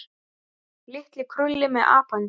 Litli krulli með apann sinn.